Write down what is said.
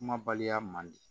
Kuma baliya man di